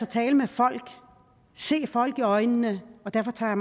tale med folk se folk i øjnene og derfor tager